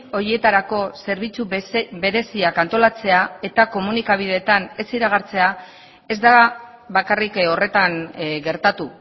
horietarako zerbitzu bereziak antolatzea eta komunikabideetan ez iragartzea ez da bakarrik horretan gertatu